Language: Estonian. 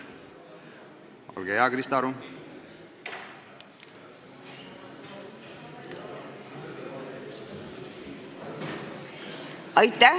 Olge hea, Krista Aru!